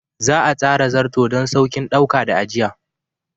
Za a tsara Zarto don sauƙin ɗauka da ajiya.